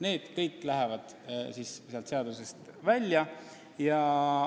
Need kõik lähevad seadusest välja.